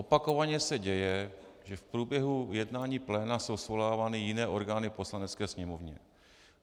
Opakovaně se děje, že v průběhu jednání pléna jsou svolávány jiné orgány Poslanecké sněmovny.